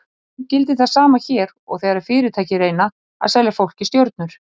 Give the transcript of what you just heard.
Í raun gildir það sama hér og þegar fyrirtæki reyna að selja fólki stjörnur.